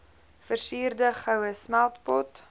versierde goue smeltpot